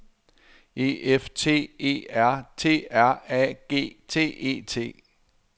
E F T E R T R A G T E T